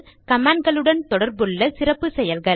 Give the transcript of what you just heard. கமான்ட்களுடன் தொடர்புள்ள சிறப்பு செயல்கள்